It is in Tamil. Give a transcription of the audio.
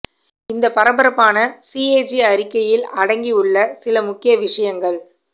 இந்த பரபரப்பான சிஏஜி அறிக்கையில் அடங்கி உள்ள சில முக்கிய விஷயங்கள்